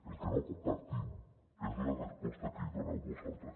el que no compartim és la resposta que hi doneu vosaltres